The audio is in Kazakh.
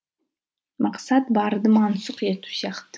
мақсат барды мансұқ ету сияқты